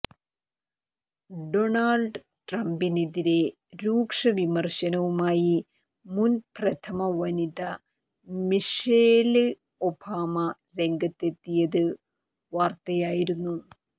Donald ട്രംപിനെതിരേ രൂക്ഷവിമര്ശനവുമായി മുന് പ്രഥമവനിത മിഷേല് ഒബാമ രംഗത്തെത്തിയത് വാര്ത്തയായിരുന്നു